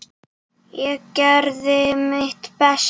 Ég gerði mitt besta.